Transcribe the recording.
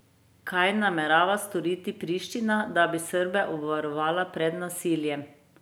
Kaj namerava storiti Priština, da bi Srbe obvarovala pred nasiljem?